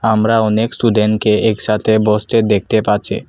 আমরা অনেক স্টুডেনকে একসাতে বসতে দেখতে পাছে ।